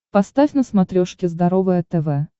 поставь на смотрешке здоровое тв